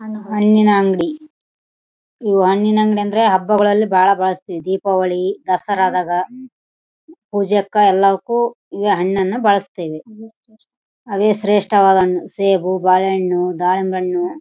ಇದೇ ಮಾರ್ಕೆಟ್ ನಲ್ಲಿ ಐತೆ ಅಂಗಡಿ ಹಣ್ಣಿಂದು ಆ ಹಣ್ಣುಗಳು ಯಾವ್ಯಾವ ಇದಾವೆ ಅಂತ ಅಂದ್ರೆ ಬಾಳೆಹಣ್ಣು ಆದ ಜಂಪಾಲ ಹಣ್ಣು ಆದ.